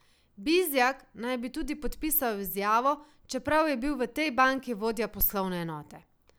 Bizjak naj bi tudi podpisal izjavo, čeprav je bil v tej banki vodja poslovne enote.